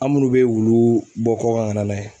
An minnu bɛ wulu bɔ kɔkan ka na n'a ye.